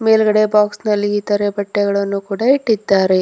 ಮೇಲ್ಗಡೆ ಬಾಕ್ಸ ನಲ್ಲಿ ಇತರೆ ಬಟ್ಟೆಗಳನ್ನು ಕೂಡ ಇಟ್ಟಿದ್ದಾರೆ.